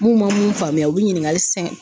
Mun ma mun faamuya u bi ɲininkali